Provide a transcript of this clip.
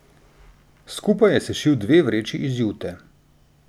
Skupaj je sešil dve vreči iz jute.